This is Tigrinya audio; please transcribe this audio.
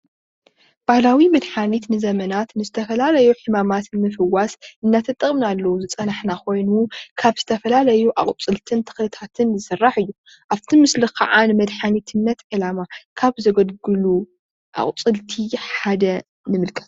ባህላዊ መድሓኒት ንዘመናት ንዝተፈላለዩ ሕማማት ንምፍዋስ እናተጠቀምናሉ ዝፀናሕና ኮይኑ ካብ ዝተፈላለዩ ኣቁፅልትን ተክልታትን ዝሰራሕ እዩ፡፡ ኣብ እቲ ምስሊ ከዓ ንመድሓኒትነት ዕላማ ካብ ዘገልግሉ ኣቁፅልቲ ሓደ ንምልከት፡፡